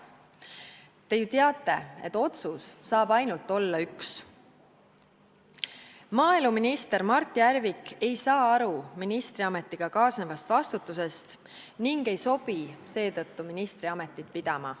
Te ju teate, et otsus saab olla ainult üks: maaeluminister Mart Järvik ei saa aru ministriametiga kaasnevast vastutusest ega sobi seetõttu ministriametit pidama.